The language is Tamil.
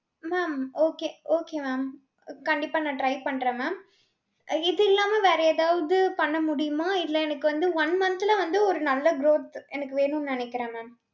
mam okay okay mam. கண்டிப்பா நான் try பண்றேன் mam. அஹ் இது இல்லாம வேற ஏதாவது பண்ணமுடியுமா இல்ல எனக்கு வந்து one month ல வந்து ஒரு நல்ல growth எனக்கு வேணும்னு நினைக்கிறன் mam.